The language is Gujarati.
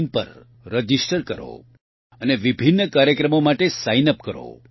in પર રજીસ્ટર કરો અને વિભિન્ન કાર્યક્રમો માટે સાઇન અપ કરો